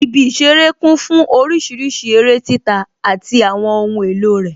Ibi ìṣeré kún fún orísìírísìí eré títa àti àwọn ohun èlò rẹ